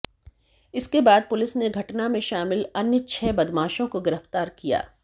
इसके बाद पुलिस ने घटना में शामिल अन्य छह बदमाशों को गिरफ्तार किया